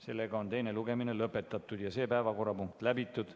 Sellega on teine lugemine lõpetatud ja see päevakorrapunkt läbitud.